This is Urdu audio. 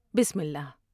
بسمہ اللہ ۔